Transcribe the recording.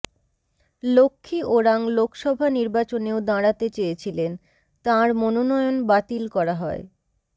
লক্ষ্মী ওরাং লোকসভা নির্বাচনেও দাঁড়াতে চেয়েছিলেন তাঁর মনোনয়ন বাতিল করা হয়